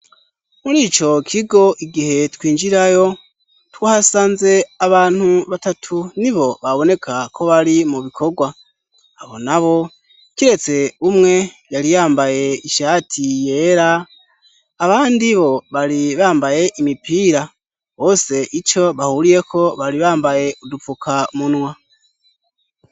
Murico kigo igihe twinjirayo twahasanze abantu batatu nibo baboneka ko bari mu bikorwa abo nabo kiretse umwe yari yambaye ishati yera abandi bo bari bambaye imipira, bose ico bahuriyeko bari bambaye udupfukamunwa.